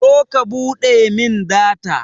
zo ka buɗe min data